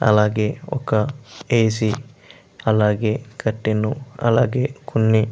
అలాగే ఒక A. C. అలాగే కర్టాన్ అలాగే కొన్ని --